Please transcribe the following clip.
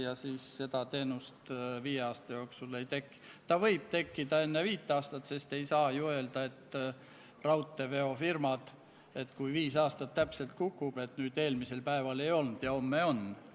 Ma vaikselt lootsin, et ehk teie kirjamehena veidi redigeerite seda kohutavat formalismi ja kantseliiti, mis nüüd juba umbes kümnes kord sealt puldist kõlab.